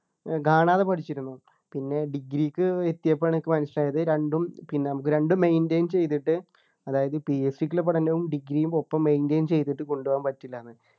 ഏർ കാണാതെ പഠിച്ചിരുന്നു പിന്നെ degree ക്ക് എത്തിയപ്പോഴാണ് എനിക്ക് മനസ്സിലായത് രണ്ടും പിന്നെ നമ്മക്ക് രണ്ടും maintain ചെയ്തിട്ട് അതായത് PSC കുള്ള പഠനവും degree യും ഒപ്പം maintain ചെയ്തിട്ട് കൊണ്ടുപോകാൻ പറ്റില്ലന്നു